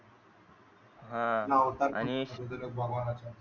हा आणि